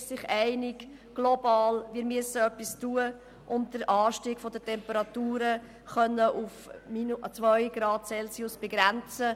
Man ist sich global einig, dass wir etwas tun müssen, um den Anstieg der Temperatur auf 2 Grad Celsius zu begrenzen.